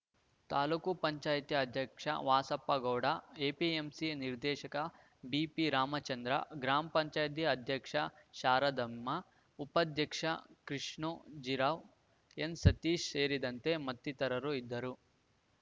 ತಾಲೂಕು ಪಂಚಾಯಿತಿ ವಾಸಪ್ಪಗೌಡ ಎಪಿಎಂಸಿ ನಿರ್ದೇಶಕ ಬಿಪಿರಾಮಚಂದ್ರ ಗ್ರಾಮ ಪಂಚಾಯಿತಿ ಅಧ್ಯಕ್ಷೆ ಶಾರದಮ್ಮ ಉಪಾಧ್ಯಕ್ಷ ಕೃಷ್ಣೋಜಿರಾವ್‌ಎನ್‌ಸತೀಶ್‌ ಸೇರಿದಂತೆ ಮತ್ತಿತರರು ಇದ್ದರು